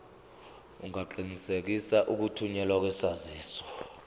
ungaqinisekisa ukuthunyelwa kwesaziso